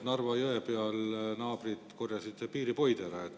Narva jõe peal naabrid korjasid piiripoid ära.